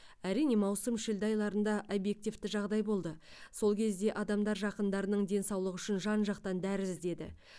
әрине маусым шілде айларында объективті жағдай болды сол кезде адамдар жақындарының денсаулығы үшін жан жақтан дәрі іздеді